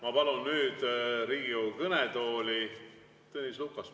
Ma palun nüüd Riigikogu kõnetooli Tõnis Lukase.